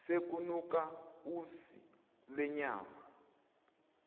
sekunuka usi lwenyama